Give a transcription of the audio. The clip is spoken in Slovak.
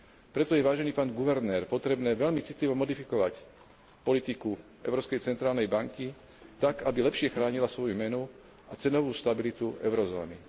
Preto je, vážený pán guvernér, potrebné veľmi citlivo modifikovať politiku Európskej centrálnej banky tak, aby lepšie chránila svoju menu a cenovú stabilitu eurozóny.